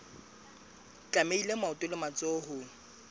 tlamehile maoto le matsoho ho